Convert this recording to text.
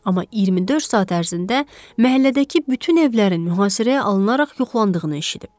Amma 24 saat ərzində məhəllədəki bütün evlərin mühasirəyə alınaraq yoxlandığını eşidib.